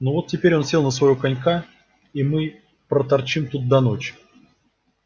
ну вот теперь он сел на своего конька и мы проторчим тут до ночи